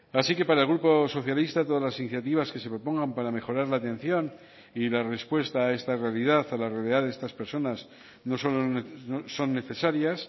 así que para el grupo socialista todas las iniciativas que se propongan para mejorar la atención y la respuesta a esta realidad a la realidad de estas personas no solo son necesarias